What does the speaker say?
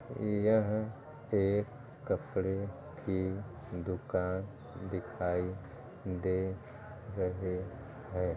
यह एक कपड़े की दुकान दिखाई दे रही है।